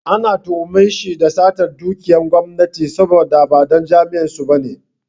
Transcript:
An tuhume shi da satar dukiyar gwamnati saboda ba ɗan jam'iyyar su ba ne.